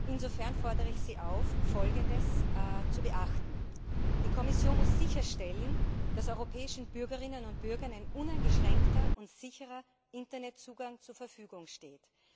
Insofern fordere ich Sie auf, Folgendes zu beachten Die Kommission muss sicherstellen, dass den europäischen Bürgerinnen und Bürgern ein uneingeschränkter und sicherer Internetzugang zur Verfügung steht.